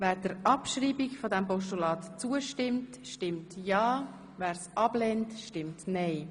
Wer die Abschreibung annimmt, stimmt ja, wer sie bestreitet, stimmt nein.